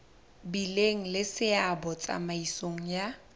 bileng le seabo tsamaisong ya